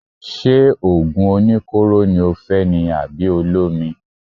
Ṣé òògùn oníkóró ni o fẹ́ ni àbí olómi.